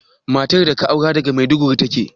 Matar da ka aura daga Maiduguri take?